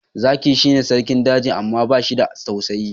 Zaki shi ne Sarkin daji amma bashi da tausayi